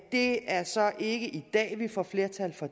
det er så ikke i dag vi får flertal for